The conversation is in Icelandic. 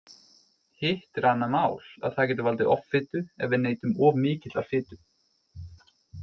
Hitt er annað mál að það getur valdið offitu ef við neytum of mikillar fitu.